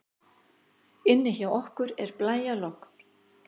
Inni hjá okkur er blæjalogn.